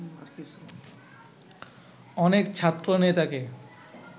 অনেক ছাত্রনেতাকে